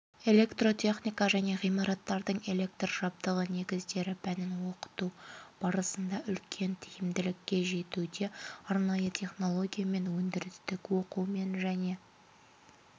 электротехника және ғимараттардың электр жабдығы негіздері пәнін оқыту барысында үлкен тиімділікке жетуде арнайы технологиямен өндірістік оқумен және